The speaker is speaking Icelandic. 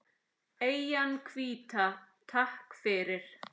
Eyjan hvíta, takk fyrir.